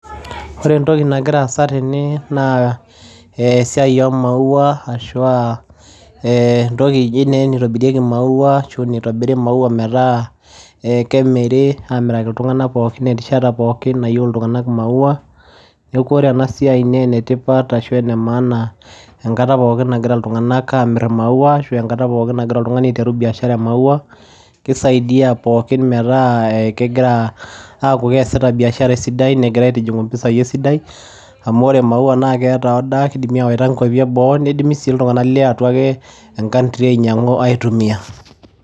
Wore entoki nagira aasa tene naa esiai oooh wauwa ashua eeentoki naa eji naa naitobirieki mauwa ashua nitobiri mauwa metaa kemiri amiraki iltunganak pookin terishata pookin nayeu iltunganak mauwa . Niaku wore enasiai naa enetipat ashua enemaana enkata pookin nagira iltunganak amir mauwa ashua enkata pookin nagira iltunganak aiteru biashara eemauwai, kisaidia pookin metaa kengira aaku keasita biashara esidai nengira aitijungu impisai esidai amu wore mauwa naa keeta order kidim awaita imkuapi eboo, nidim sii iltunganak lee atua ee country ainyangua aitumia.